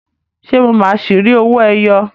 Ṣé mo máa ṣi rí owó ẹyọ?